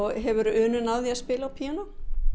hefurðu unun af því að spila á píanó